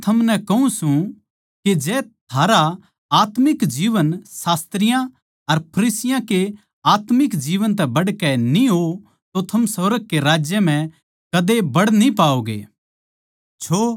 क्यूँके मै थमनै कहूँ सूं के जै थारा आत्मिक जीवन शास्त्रियाँ अर फरिसियाँ के आत्मिक जीवन तै बढ़कै न्ही हो तो थम सुर्ग के राज्य म्ह कदे बड न्ही पाओगें